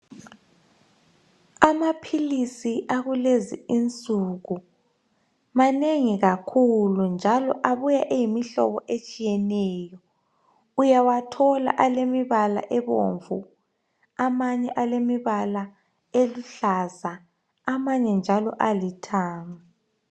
Amaphilisi akulezi insuku manengi kakhulu! Njalo abuya eyimihlobo etshiyeneyo. Uyawathola alemibala ebomvu. Amanye alemibala eluhlaza. Amanye njalo alithanga.